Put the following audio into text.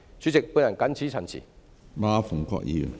主席，我謹此陳辭。